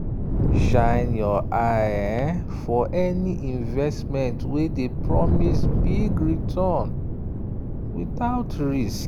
shine your eye for any investment wey dey promise big return without risk.